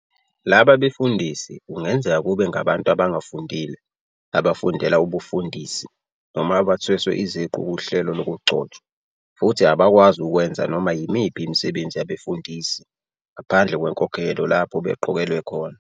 Laba befundisi kungenzeka kube ngabantu abangafundile, abafundela ubufundisi, noma abathweswe iziqu kuhlelo lokugcotshwa, futhi abakwazi ukwenza noma yimiphi imisebenzi yabefundisi ngaphandle kwenkokhelo lapho beqokelwe khona.